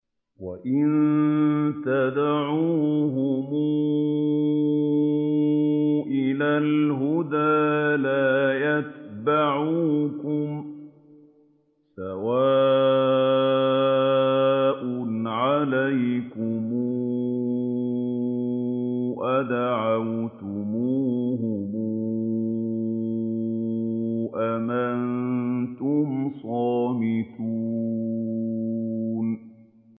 وَإِن تَدْعُوهُمْ إِلَى الْهُدَىٰ لَا يَتَّبِعُوكُمْ ۚ سَوَاءٌ عَلَيْكُمْ أَدَعَوْتُمُوهُمْ أَمْ أَنتُمْ صَامِتُونَ